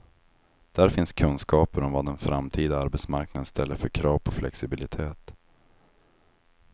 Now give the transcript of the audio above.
Där finns kunskaper om vad den framtida arbetsmarknaden ställer för krav på flexibilitet.